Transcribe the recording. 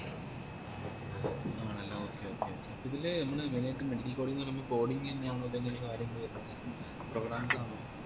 ആണല്ലേ okay okay okay ഇതില് മ്മളി medical coding ന്നയാന്നോ അതോ programmes ആണോ